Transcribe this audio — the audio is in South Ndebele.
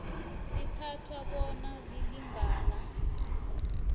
lithathwa bona lilingana